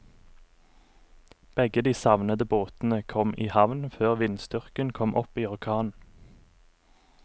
Begge de savnede båtene kom i havn før vindstyrken kom opp i orkan.